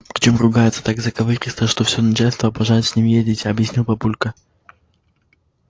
причём ругается так заковыристо что всё начальство обожает с ним ездить объяснил папулька